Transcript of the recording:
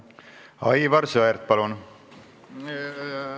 Aivar Sõerd, palun!